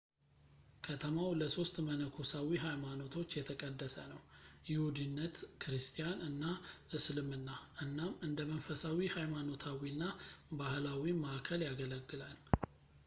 ከተማው ለሶስት መነኮሳዊ ሀይማኖቶች የተቀደሰ ነው ይሁዲነት ክርስቲያን እና እስልምና እናም እንደ መንፈሳዊ ሀይማኖታዊ እና ባህላዊ መዓከል ያገለግላል